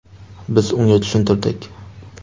Biz unga tushuntirdik.